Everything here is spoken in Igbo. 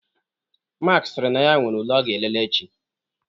Mark sịrị na ya nwere ule ọ ga-elele echi.